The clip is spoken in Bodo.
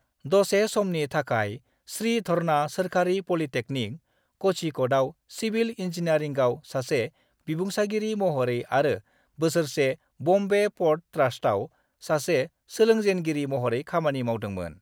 दसे समनि थाखाय, श्रीधरना सोरखारि पलिटेक्निक, क'झीक'डाव सिविल इंजीनियारिंगआव सासे बिबुंसारगिरि महरै आरो बोसोरसे बम्बे प'र्ट ट्रास्टआव सासे सोलोंजेनगिरि महरै खामानि मावदोंमोन।